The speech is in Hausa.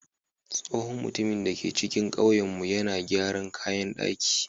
Tsohon mutumin da ke cikin ƙauyenmu yana gyaran kayan ɗaki.